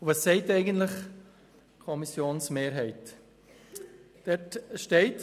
Was sagt die Kommissionsmehrheit eigentlich?